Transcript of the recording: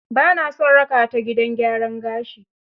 Ba naa son raka taa gidan gyaran gashi.